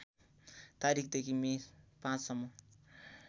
तारिखदेखि मे ५ सम्म